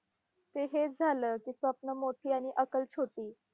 ते हेच झालं की, स्वप्न मोठी आणि अकल छोटी.